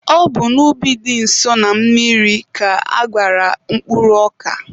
Ọ bụ n'ubi dị nso na mmiri ka aghara mkpụrụ ọka.